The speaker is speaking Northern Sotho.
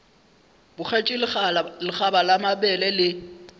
bogetše lekgaba la mabele le